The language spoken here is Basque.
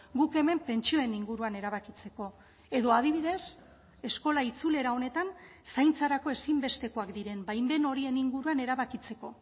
guk hemen pentsioen inguruan erabakitzeko edo adibidez eskola itzulera honetan zaintzarako ezinbestekoak diren baimen horien inguruan erabakitzeko